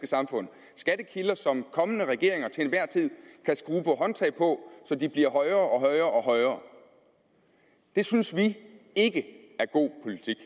samfund skattekilder som kommende regeringer til enhver tid kan skrue på håndtag på så de bliver højere og højere og atter højere det synes vi ikke er god politik